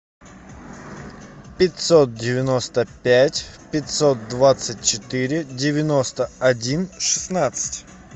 пятьсот девяносто пять пятьсот двадцать четыре девяносто один шестнадцать